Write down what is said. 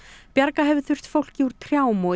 bjarga hefur þurft fólki úr trjám og